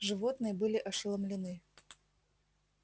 животные были ошеломлены